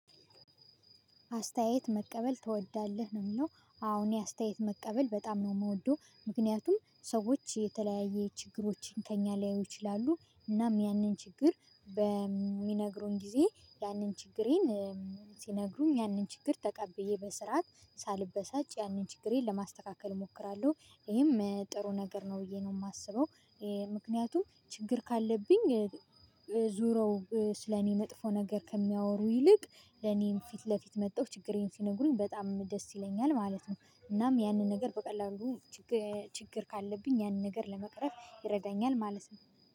አስተያየት መቀበል ትወዳለህ ነው የሚለው አወ እኔ የአስተያየት መቀበል በጣም ነው የምወደው። ምክንያቱም ሰዎች የተለያየ ችግሮችን ከእኛ ሊያዩ ይችላሉ። እናም ያንን ችግር በሚነግሩን ጊዜ ያንን ችግሬን ሲነግሩም ያንን ችግር ተቀብዬ በስርዓት ሳልበሳጭ ያንን ችግሬን ለማስተካከል እሞክራለሁ። ይሄም ጥሩ ነገር ነው ብዬ ነው የማስበው። ምክንያቱም ችግር ካለብኝ ዞረው ስለኔ መጥፎ ነገር ከሚያወሩ ይልቅ ለኔም ፊት ለፊት መጥተው ችግሬን ሲነግሩኝ በጣም ደስ ይለኛል ማለት ነው። እናም ያንን ነገር በቀላሉ ችግር ካለብኝ ያንን ነገር ለመቅረፍ ይረዳኛል ማለት ነው።